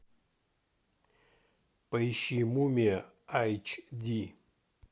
поищи мумия айч ди